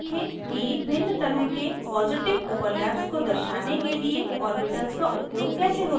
अब देखें कि भिन्न तरह के positive overlaps को दर्शाने के लिए ऑर्बिटल्स का उपयोग कैसे होता है